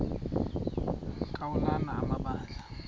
ka ulana amabandla